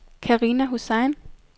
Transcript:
Karina Hussain